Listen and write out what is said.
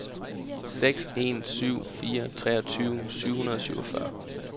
seks en syv fire treogtyve syv hundrede og syvogfyrre